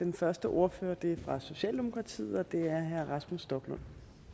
den første ordfører er fra socialdemokratiet og det er herre rasmus stoklund